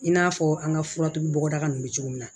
I n'a fɔ an ka fura tugu bɔda ninnu bɛ cogo min na